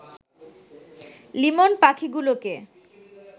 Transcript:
লিমন পাখিগুলোকে